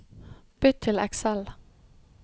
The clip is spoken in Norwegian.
Bytt til Excel